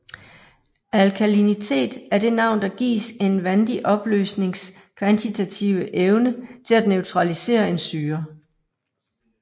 Alkalinitet er det navn der gives en vandig opløsnings kvantitative evne til at neutralisere en syre